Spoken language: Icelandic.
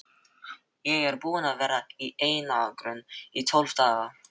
Ég er búinn að vera í einangrun í tólf daga.